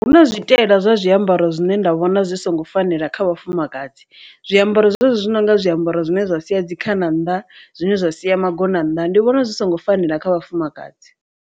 Hu na zwi taela zwa zwiambaro zwine nda vhona zwi songo fanela kha vhafumakadzi, zwiambaro zwezwi zwi nonga zwiambaro zwine zwa sia dzikhana nnḓa zwine zwa sia magona nnḓa ndi vhona zwi songo fanela kha vhafumakadzi.